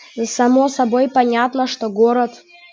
само собой понятно что город